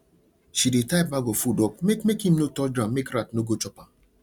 she dey tie bag of food up make make im no touch ground make rat no go chop am